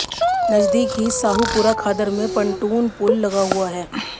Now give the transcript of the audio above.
नजदीक ही साहूपुरा खादर में पंटून पुल लगा हुआ है